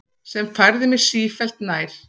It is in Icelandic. Sem færði mig sífellt nær